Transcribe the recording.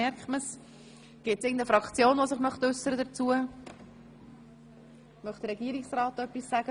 Bernasconi (Malleray, SP) Egger (Frutigen, glp) 17 26.01.2017 vom 17. Mai 2017 Polizei- und Militärdirektion Regierungsrat das Wort?